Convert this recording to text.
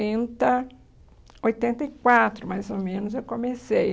Oitenta e quatro, mais ou menos, eu comecei.